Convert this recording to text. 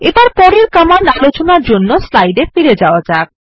এবার পরের কমান্ড আলোচনার জন্য স্লাইড এ ফিরে যাওয়া যাক